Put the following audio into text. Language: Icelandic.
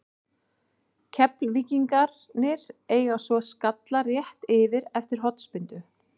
Keflvíkingarnir eiga svo skalla rétt yfir eftir hornspyrnu.